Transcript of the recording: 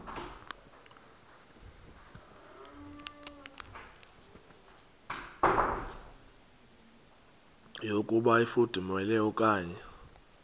yokuba ifudumele okanye